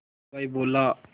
हलवाई बोला